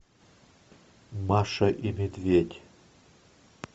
маша и медведь